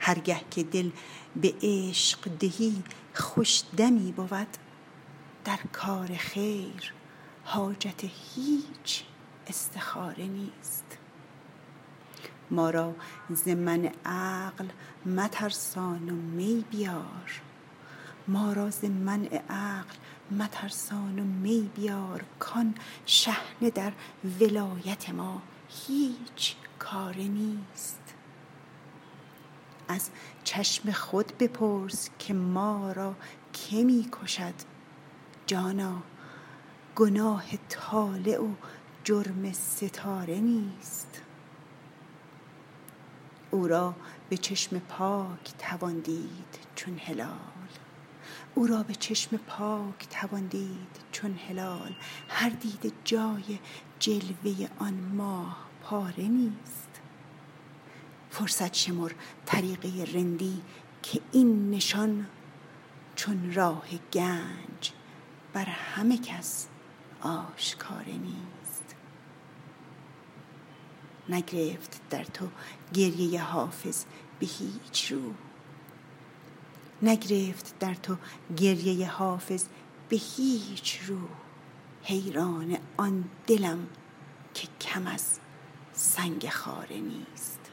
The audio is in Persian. هر گه که دل به عشق دهی خوش دمی بود در کار خیر حاجت هیچ استخاره نیست ما را ز منع عقل مترسان و می بیار کآن شحنه در ولایت ما هیچ کاره نیست از چشم خود بپرس که ما را که می کشد جانا گناه طالع و جرم ستاره نیست او را به چشم پاک توان دید چون هلال هر دیده جای جلوه آن ماه پاره نیست فرصت شمر طریقه رندی که این نشان چون راه گنج بر همه کس آشکاره نیست نگرفت در تو گریه حافظ به هیچ رو حیران آن دلم که کم از سنگ خاره نیست